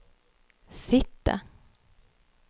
sitte